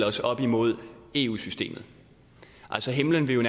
os op imod eu systemet altså himmelen ville